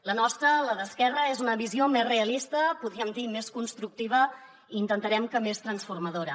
la nostra la d’esquerra és una visió més realista podríem dir més constructiva i intentarem que més transformadora